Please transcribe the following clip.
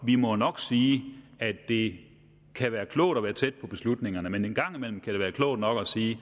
vi må nok sige at det kan være klogt at være tæt på beslutningerne men en gang imellem kan det være klogt nok at sige